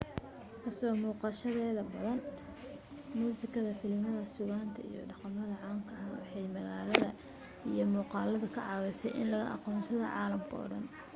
ka soo muuqashadeeda badan ee muusikada filimada suugaanta iyo dhaqamada caanka ah waxay magaalada iyo muuqaaladeeda ka caawisay in laga aqoonsada caalamka oo dhan